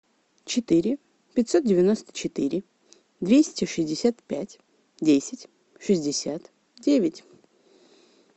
четыре пятьсот девяносто четыре двести шестьдесят пять десять шестьдесят девять